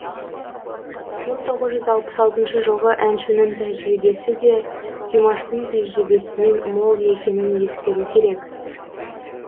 мың тоғыз жүз алпыс алтыншы жылғы әншінің тәжірибесі де димаштың тәжірибесінен мол екенін ескеру керек